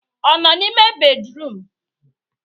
Ọ nọ n'ime bédrụum?